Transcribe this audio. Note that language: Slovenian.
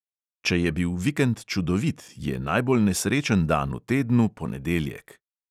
Če je bil vikend čudovit, je najbolj nesrečen dan v tednu ponedeljek.